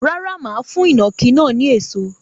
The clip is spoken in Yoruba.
Rárá, mà á fún ìnàkí náà ní èso.